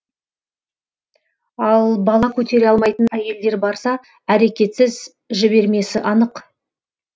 ал бала көтере алмайтын әйелдер барса әрекетсіз жібермесі анық